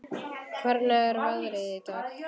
Hvernig er veðrið í dag?